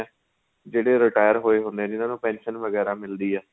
ਜਿਹੜੇ retired ਹੋਏ ਹੁਣੇ ਏ ਜਿਹਨਾਂ ਨੂੰ pension ਵਗੇਰਾ ਮਿਲਦੀ ਏ